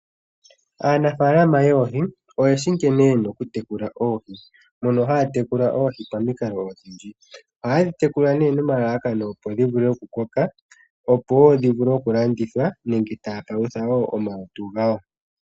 Aanafalama yoohi oyeshi nkene yena okutekula oohi mono haya tekula oohi momikalo odhindji. Oha yedhi tekula nomalalakano ga yooloka, opo dhi koke ya vule okulanditha nenge yapaluthe omalutu gawo.